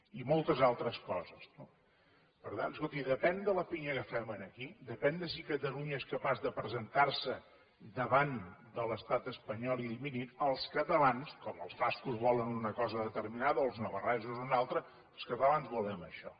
i moltes altres coses no per tant escolti depèn de la pinya que fem aquí depèn de si catalunya és capaç de presentar se davant de l’estat espanyol i dir mirin els catalans com els bascos volen una cosa determinada o els navarresos una altra volem això